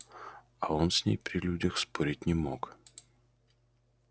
а он с ней при людях спорить не мог